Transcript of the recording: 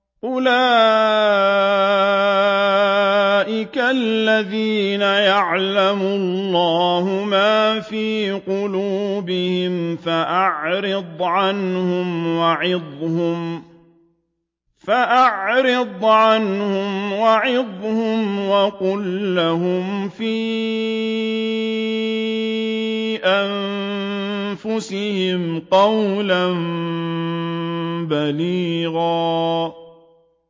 أُولَٰئِكَ الَّذِينَ يَعْلَمُ اللَّهُ مَا فِي قُلُوبِهِمْ فَأَعْرِضْ عَنْهُمْ وَعِظْهُمْ وَقُل لَّهُمْ فِي أَنفُسِهِمْ قَوْلًا بَلِيغًا